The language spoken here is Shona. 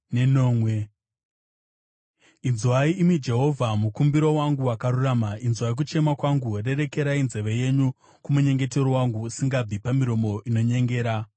Inzwai, imi Jehovha, mukumbiro wangu wakarurama; inzwai kuchema kwangu. Rerekerai nzeve yenyu kumunyengetero wangu, usingabvi pamiromo inonyengera.